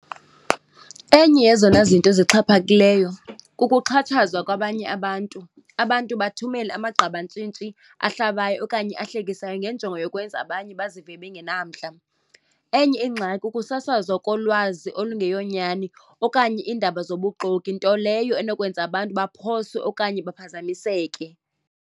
Enye yezona zinto zixhaphakileyo kukuxhatshazwa kwabanye abantu. Abantu bathumele amagqabantshintshi ahlabayo okanye ahlekisayo ngenjongo yokwenza abanye bazive bengenamandla. Enye ingxaki kukusasazwa kolwazi olungeyo nyani okanye iindaba zobuxoki, nto leyo enokwenza abantu baphoswe okanye baphazamiseke.